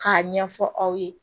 K'a ɲɛfɔ aw ye